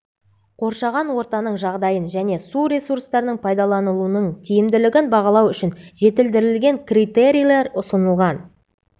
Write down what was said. қоршаған ортаның жағдайын және су ресурстарының пайдаланылуының тиімділігін бағалау үшін жетілдірілген критерийлер ұсынылған